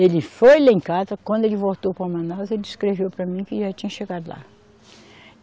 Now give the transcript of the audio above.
Ele foi lá em casa, quando ele voltou para Manaus, ele escreveu para mim que já tinha chegado lá.